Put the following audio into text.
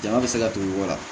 Jama bɛ se ka don i kɔ wa